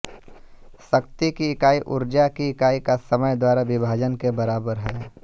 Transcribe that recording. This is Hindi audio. शक्ति की इकाई ऊर्जा की इकाई का समय द्वारा विभाजन के बराबर है